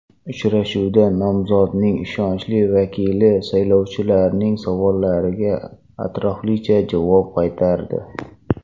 Uchrashuvda nomzodning ishonchli vakili saylovchilarning savollariga atroflicha javob qaytardi.